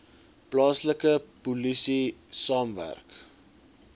plaaslike polisie saamwerk